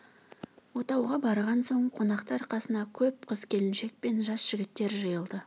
отауға барған соң қонақтар қасына көп қыз келіншек пен жас жігіттер жиылды